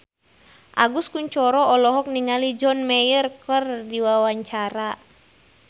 Agus Kuncoro olohok ningali John Mayer keur diwawancara